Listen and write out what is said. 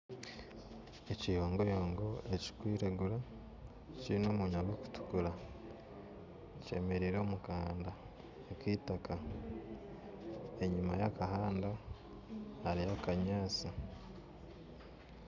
Ekiyongoyongo ekirukwiragura kiine omunwa gurikutukura kyemeriire omukahanda kaitaka enyima yakahanda hariyo obunyatsi.